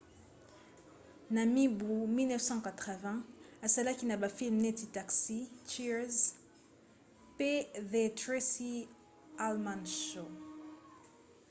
na mibu 1980 asalaki na bafilme neti taxi cheers pe the tracy ullman show